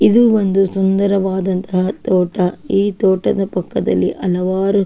ಇದು ಒಂದು ಸುಂದರವಾದಂಹ ತೋಟ ಈ ತೋಟದ ಪಕ್ಕದಲ್ಲಿ ಹಲವಾರು-